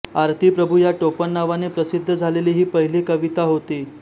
आरती प्रभू या टोपणनावाने प्रसिद्ध झालेली ही पहिली कविता होती